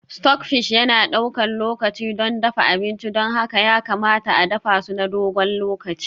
Stockfish yana ɗaukar lokaci don dafa abinci, don haka ya kamata a dafa su na dogon lokaci.